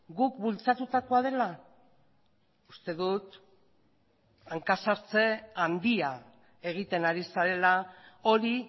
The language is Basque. guk bultzatutakoa dela uste dut hanka sartze handia egiten ari zarela hori